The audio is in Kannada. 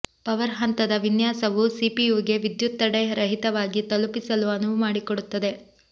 ಪವರ್ ಹಂತದ ವಿನ್ಯಾಸವು ಸಿಪಿಯುಗೆ ವಿದ್ಯುತ್ ತಡೆರಹಿತವಾಗಿ ತಲುಪಿಸಲು ಅನುವು ಮಾಡಿಕೊಡುತ್ತದೆ